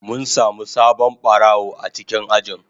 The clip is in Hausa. Mun samu sabon barawo a cikin ajin.